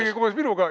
Isegi koos minuga!